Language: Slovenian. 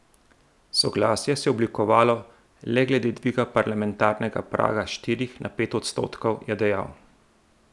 Soglasje se je oblikovalo le glede dviga parlamentarnega praga s štirih na pet odstotkov, je dejal.